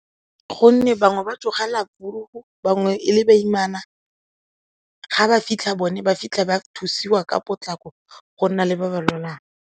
Gonne bangwe ba tsogela bangwe e le baimana, ga ba fitlha bone ba fitlha ba thusiwa ka potlako go nna le ba ba lwalang.